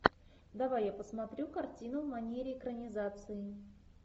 давай я посмотрю картину в манере экранизации